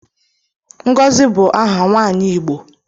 Ngozi bu aha nwaanyi Igbo